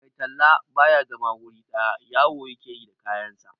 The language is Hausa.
Mai talla ba ya zama wuri ɗaya, yawo ya ke yi da kayansa.